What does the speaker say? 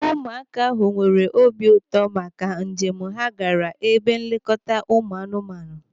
Ụmụaka ahụ nwere obi ụtọ maka njem ha gaara ebe nlekọta ụmụ anụmanụ.